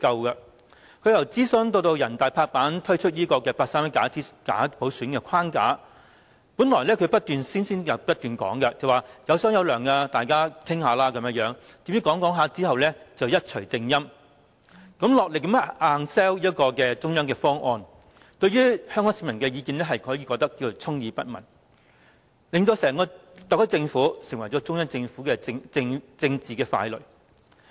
由政府進行諮詢，至全國人民代表大會拍板推出八三一假普選框架，最初她不斷聲稱"有商有量"，大家可以討論，誰料最後一錘定音，落力硬推中央的方案，對於香港市民的意見可說是充耳不聞，令整個特區政府成為中央政府的政治傀儡。